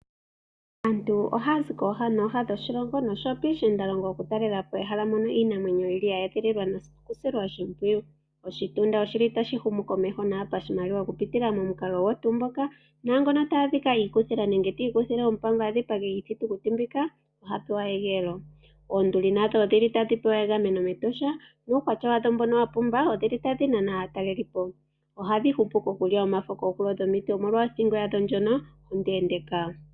Aantu oha ya zi kooha nooha dhoshilongo osho woo piishiinda longo, oku talelapo ehala mono iinamwenyo yi li ya edhililwa noku silwa oshimpwiyu. Oshitunda oshi li tashi humu komeho nawa pashimaliwa oku pitila momukalo gwetu ngoka naangoka ta adhikwa iikuthila nenge, ti ikuthile ompango a dhipage iithitukuti mbika oha pewa egeelo. Oonduli nadho odhili tadhi pewa egameno mEtosha, nuukwatya wadho mbono wuli wapumba, odhili tadhi nana aakalelipo. Ohadhi hupu kukulya omafo koohulo dhomiti omolwa othigo yadho ndjono ondeendeka.